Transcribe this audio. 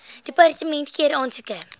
departement keur aansoeke